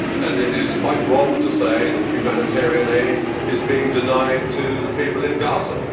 It is quite wrong to say that humanitarian aid is being denied to the people in Gaza.